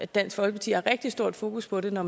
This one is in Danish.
dansk folkeparti har rigtig stort fokus på det når